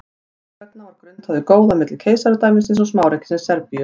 þess vegna var grunnt á því góða milli keisaradæmisins og smáríkisins serbíu